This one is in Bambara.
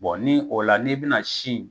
ni o la n'i bɛna si